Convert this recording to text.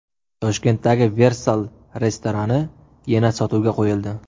Toshkentdagi Versal restorani yana sotuvga qo‘yildi.